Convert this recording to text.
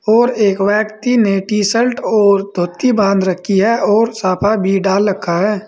और एक व्यक्ति ने टी शर्ट और धोती बांध रखी है और साफा भी डाल रखा है।